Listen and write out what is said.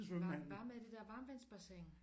Der er varme i det der varmtvandsbassin